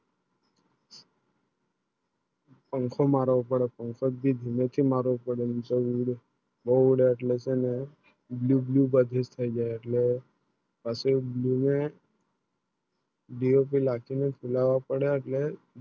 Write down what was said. પાંખો મારા ઉપર પાંખો જે ઉપ બહુ ચ Blue, Blue બીજે થયી ગયા એટલો પછી Blue મેં દિયો ને લાખી ખુલવા પડે એટલે